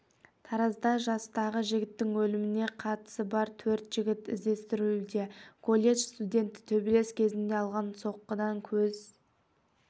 таразда жастағы жігіттің өліміне қатысы бар төрт жігіт іздестірілуде колледж студенті төбелес кезінде алған соққыдан көз